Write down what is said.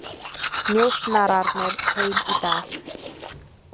Njósnararnir heim í dag